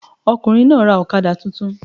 The man bought a new motorcycle